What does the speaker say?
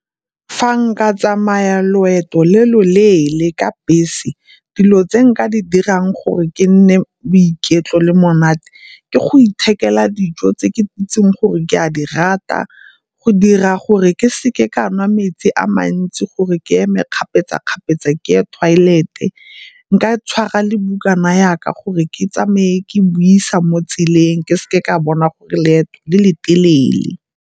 Fa nka tsamaya loeto le loleele ka bese dilo tse nka di dirang gore ke nne boiketlo le monate ke go ithekela dijo tse ke itseng gore ke a di rata, go dira gore ke seke ka nwa metsi a mantsi gore ke eme kgapetsa-kgapetsa ke ye toilet-e. Nka tshwara le bukana yaka gore ke tsamaye ke buisa mo tseleng ke seke ka bona gore leeto le le telele.